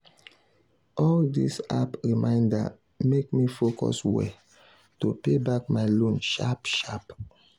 all these app reminder make me focus well to pay back my loan sharp sharp.